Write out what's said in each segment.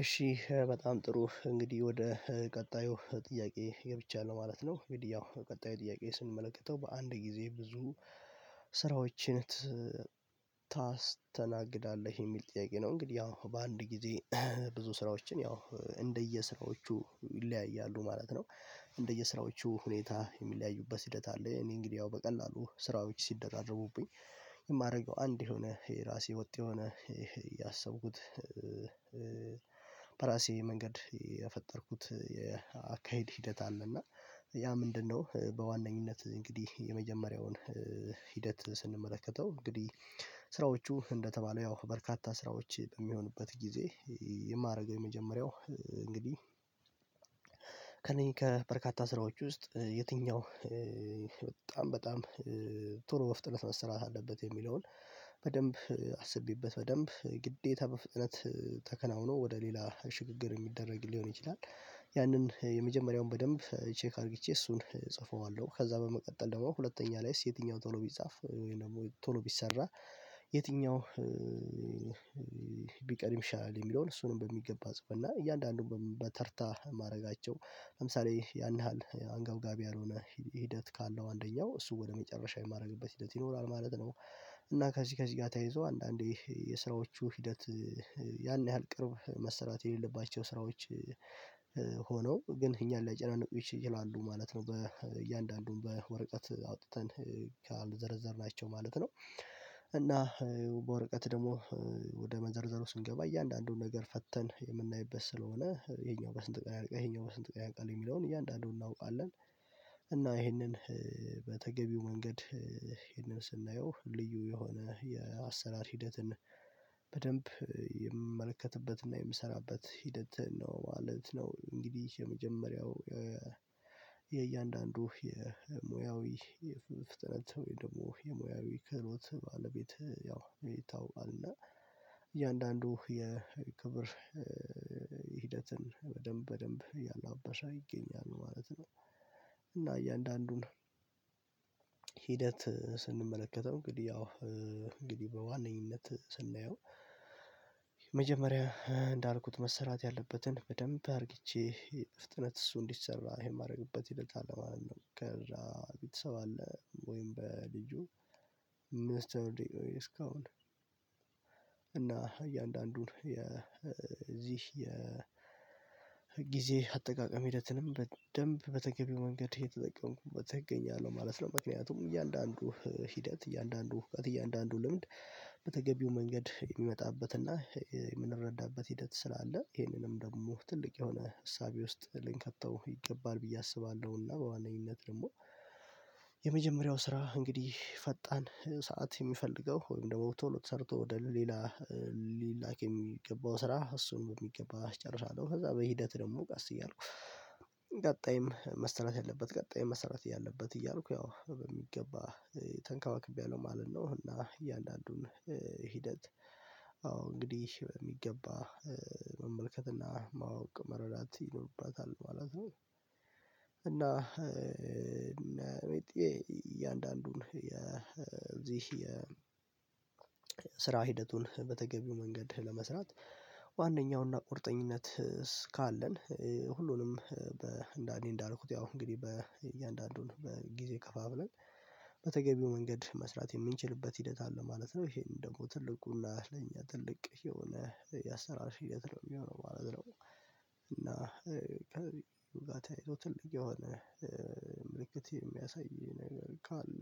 እሺ በጣም ጥሩ እንግዲህ ወደ ቀጣዩ ጥያቄ ገብቻለው ነው ማለት ነው ያው ቀጣዩ ጥያቄ ስንመለከተው በአንድ ጊዜ ብዙ ስራዎችን ታስተናግዳለህ? የሚል ጥያቄ ነው እንግዲህ ያው በአንድ ጊዜ ብዙ ስራዎችን ያው እንደየስራዎቹ ይለያያሉ ማለት ነው እንደየስራዎቹ ሁኔታ የሚለያዩበት ሂደት አለ። እኔ እንግዲህ ያው በቀላሉ ስራዎች ሲደራረቡብኝ የማደርገው አንድ የሆነ፤ የራሴ ወጥ የሆነ ያሰብኩት በራሴ መንገድ የፈጠርኩት የአካሄድ ሂደት አለና ያ ምንድነው በዋነኝነት እንግዲህ የመጀመሪያውን ሂደት ስንመለከተው እንግዲህ ስራዎቹ እንደተባለው ያው በርካታ ስራዎች በሚሆኑበት ጊዜ የማደረገ የመጀመሪያው እንግዲህ እኔ ከበርካታ ስራዎች ውስጥ የትኛው በጣም በጣም ቶሎ መፍጠን መሰራት አለበት የሚለውን በደንብ አስቤበት፤ በደንብ ግዴታ በፍጥነት ተከናውኖ ወደ ሌላ ሽግግር የሚደረግ ሊሆን ይችላል ያንን የመጀመሪያውን በደንብ ቼክ አርግቼ እሱን እጽፈዋለሁ፤ ከዛ በመቀጠል ደግሞ ሁለተኛ ላይስ የትኛው ቶሎ ቢፃፍ ወይ ደግሞ ቶሎ ቢሰራ የትኛው ቢቀድም ይሻላል የሚለውን እሱንም በሚገባ ጽፈን እና እያንዳንዱን በተርታ ማረጋቸው ለምሳሌ -ያን ያህል አንገብጋቢ ያልሆነ ሂደት ካለው አንደኛው እሱ ወደ መጨረሻ የማደርግበት ሂደት ይኖራል ማለት ነው። እና ከዚህ ከዚህ ጋር ተያይዞ አንዳንዴ የስራዎቹ ሂደት ያን ያህል ቅርብ መሰራት የሌለባቸው ስራዎች የትኛው ቢቀድም ይሻላል የሚለውን እሱንም በሚገባ ጽፈን እና እያንዳንዱን በተርታ ማድረጋቸው ለምሳሌ ያን ያህል አንገብጋቢ ያልሆነ ሂደት ካለው አንደኛው እሱ ወደ መጨረሻ የማደርግበት ሂደት ይኖራል ማለት ነው እና በወረቀት ደግሞ ወደ መዘርዘሩ ስንገባ እያንዳንዱን ነገር ፈተን የምናይበት ስለሆነ ይሄኛው በስንት ቀን ያልቃል ይሄኛው በስንት ቀን ያልቃል የሚለውን እያንዳንዱን እናውቃለን። እና ይሄንን በተገቢው መንገድ ይህንን ስናየው ልዩ የሆነ የአሰራር ሂደትና፤ በደንብ የምመለከትበትና የምሰራበት ሂደት ነው ማለት ነው። እንግዲህ የመጀመሪያው የእያንዳንዱ የሙያዊ የፍትህ ስትል ወይ ደግሞ የሙያዊ ክህሎት ባለቤት ያው ይታወቃልና እያንዳንዱ የክብር ሂደትን በደንብ በደንብ ያላበስ ይገኛል ማለት ነው። እያንዳንዱን ሂደት ስንመለከተው እንግዲህ ያው እንግዲህ በዋነኝነት ስናየው የመጀመሪያ እንዳልኩት መሰራት ያለበትን በደንብ አርግቼ በፍጥነት እሱ እንዲሰራ የማረግበት ሂደት አለ ማለት ነው። ቤተሰብ አለ ወይም በልጁ ሚስተር ዲኦ እስካሁን እና እያንዳንዱን የዚህ ጊዜ አጠቃቀም ሂደትንም በደንብ በተገቢው መንገድ የተጠቀምኩበት እገኛለሁ ማለት ነው። ምክንያቱም እያንዳንዱ ሂደት፤ እያንዳንዱ እውቀት፤ እያንዳንዱ ልምድ በተገቢው መንገድ የሚመጣበትና የምንረዳበት ሂደት ስላለ ይሄንኑም ደሞ ትልቅ የሆነ እሳቤ ውስጥ ልንከተው ይገባል ብዬ አስባለሁና በዋነኝነት ደሞ የመጀመሪያው ስራ እንግዲህ ፈጣን ሰዓት የሚፈልገው ወይም ደግሞ ቶሎ ተሰርቶ ወደ ሌላ ሊላክ የሚገባው ስራ እሱን በሚገባ አስጨርሳለሁ። ከዛ በሂደት ደግሞ ቀስ እያልኩ ቀጣይም መሰራት ያለበት ቀጣይ መሰራት ያለበት እያልኩ ያው በሚገባ ተንከባክቤያለሁ ማለት ነው። እና እያንዳንዱን ሂደት አዎ እንግዲህ በሚገባ መመልከትና ማወቅ መረዳት ይኖርባታል ማለት ነው፤ እና ሜቴ እያንዳንዱን የእዚህ የስራ ሂደቱን በተገቢው መንገድ ለመስራት ዋናኛውና ቁርጠኝነት ካለን ሁሉንም በአንዴ እንዳልኩት ያው እንግዲህ በእያንዳንዱን በጊዜ ከፋፍለን በተገቢው መንገድ መስራት የምንችልበት ሂደት አለ ማለት ነው። ይሄን ትልቁና ለኛ ትልቅ የሆነ ያሰራርሽ ሂደነት ነው የሚሆነው ማለት ነው። እና ከዛ ታይቶ ትልቅ የሆነ ምልክት የሚያሳይ ነገር ካለ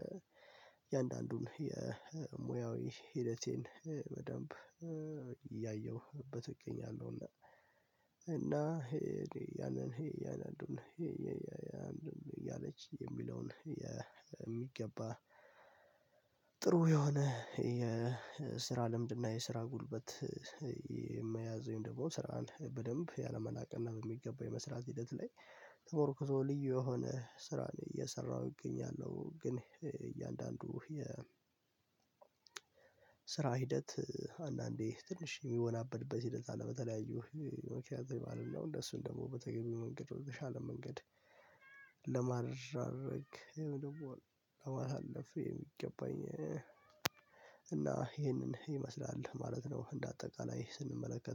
የአንዳንዱን የሙያዊ ሂደቴን በደንብ እያየሁበት እገኛለሁና። እና ይሄ ያንን እያንዳንዱን ይሄ የሚለውን በሚገባ ጥሩ የሆነ የስራ ልምድና የስራ ጉልበት የመያዝ ደግሞ ስራን በደንብ ያለመናቅና በሚገባው የመስራት ሂደት ላይ ተሞክሮ ልዩ የሆነ ስራን እየሰራሁ ይገኛሉ ግን እያንዳንዱ የ ስራ ሂደት አንዳንዴ ትንሽ የሚወናበድበት ሂደት አለ በተለያዩ ምክንያቶች ማለት ነው እንደሱን ደግሞ በተገኘው መንገድ ወደተሻለ መንገድ ለማድረግ ይሄን ደግሞ አሳለፈ የሚገባኝ እና ይሄንን ይመስላል ማለት ነው እንደ አጠቃላይ ስንመለከት።